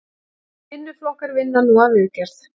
Vinnuflokkar vinna nú að viðgerð